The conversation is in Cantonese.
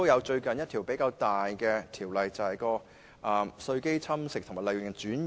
最近一項比較大型的條例修訂，就是有關稅基侵蝕及利潤轉移。